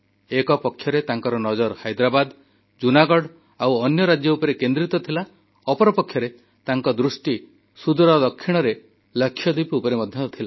ଗୋଟିଏ ପଟେ ତାଙ୍କ ନଜର ହାଇଦ୍ରାବାଦ ଜୁନାଗଡ଼ ଆଉ ଅନ୍ୟ ରାଜ୍ୟ ଉପରେ କେନ୍ଦ୍ରିତ ଥିଲା ଅନ୍ୟପଟେ ତାଙ୍କ ଦୃଷ୍ଟି ସୁଦୂର ଦକ୍ଷିଣରେ ଲାକ୍ଷାଦ୍ୱୀପ ଉପରେ ମଧ୍ୟ ଥିଲା